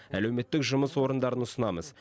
әлеуметтік жұмыс орындарын ұсынамыз